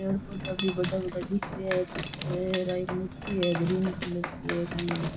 पेड़ पौधा भी बड़ा बड़ा दिख रहा है पीछे एक मूर्ति है ग्रीन कलर की काई है ध्यान --